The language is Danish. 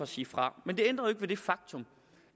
sige fra men det ændrer jo ikke ved det faktum